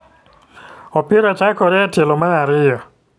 Opira chakore e tielo mar ariyo.